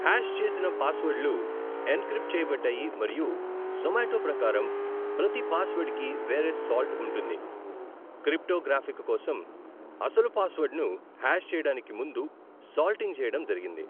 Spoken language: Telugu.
హాష్ చేసన పాస్వర్డ్లు ఎన్క్రిప్ట్ చేయబడ్డాయి మరియు జొమాటో ప్రకారం, ప్రతి పాస్వర్డ్కి వేరే 'సాల్ట్' ఉంటుంది, క్రిప్టోగ్రాఫిక్ కోసం, అసలు పాస్వర్డ్ను హ్యాష్ చేయడానికి ముందు సాల్టింగ్ చేయడం జరిగింది.